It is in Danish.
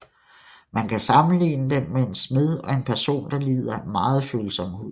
Man kan sammenligne den med en smed og en person der lider af meget følsom hud